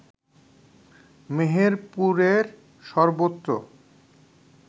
মেহেরপুরের সর্বত্র